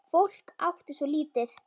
Fólk átti svo lítið.